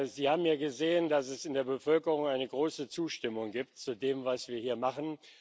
Sie haben ja gesehen, dass es in der Bevölkerung eine große Zustimmung gibt zu dem, was wir hier machen.